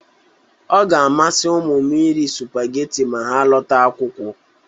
Ọ ga-amasị ụmmụ m iri supageti ma ha lọta akwụkwọ.